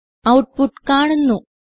output കാണുന്നു